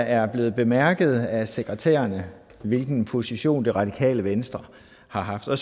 er blevet bemærket af sekretærerne hvilken position det radikale venstre har så